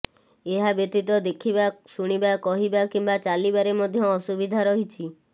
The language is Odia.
ଏହା ବ୍ୟତୀତ ଦେଖିବା ଶୁଣିବା କହିବା କିମ୍ବା ଚାଲିବାରେ ମଧ୍ୟ ଅସୁବିଧା ରହିଛି